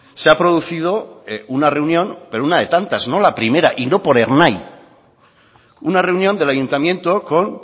se ha producido una reunión pero una de tantas no la primera y no por ernai una reunión del ayuntamiento con